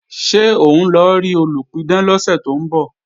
Ṣé òun lọ rí olùpidán lọ́sẹ̀ tó ń bọ̀?